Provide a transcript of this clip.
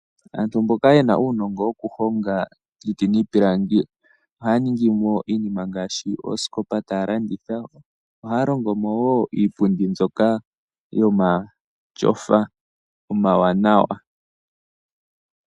Aantu mboka ye na uunongo wokuhonga iiti niipilangi ohaya ningi mo iinima ngaashi, oosikopa taya landitha. Ohaya longo mo wo iipundi mbyoka yomatyofa omawanawa.